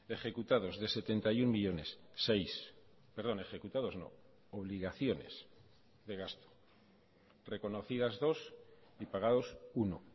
ejecutados de setenta y uno millónes seis perdón ejecutados no obligaciones de gasto reconocidas dos y pagados uno